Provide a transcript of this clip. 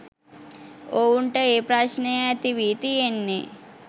ඔවුන්ට ඒ ප්‍රශ්නය ඇතිවී තියෙන්නේ